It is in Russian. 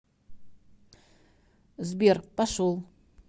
сбер пошел